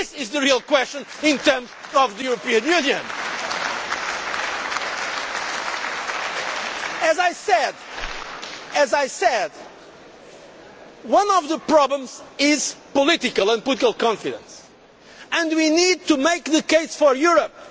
This is the real question in terms of the European Union. As I said, one of the problems is political and political confidence and we need to make the case for Europe.